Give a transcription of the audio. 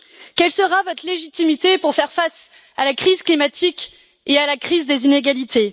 Quelle sera votre légitimité pour faire face à la crise climatique et à la crise des inégalités?